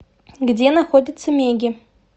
где находится меги